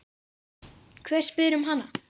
Hver spyr um hana?